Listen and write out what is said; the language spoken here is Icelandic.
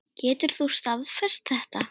Getur þú staðfest þetta?